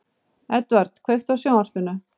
Eðvald, kveiktu á sjónvarpinu.